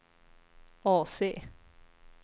AC